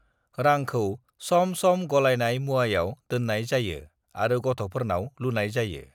रांखौ सम सम गलायनाय मुवायाव दोननाय जायो आरो गथ'फोरनाव लुनाय जायो।